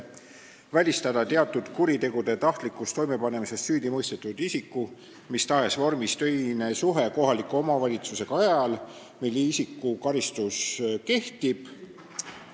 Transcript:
Teiseks tuleks välistada teatud kuritegude tahtlikus toimepanemises süüdimõistetud isiku mis tahes vormis töine suhe kohaliku omavalitsusega ajal, mil isiku karistus kehtib.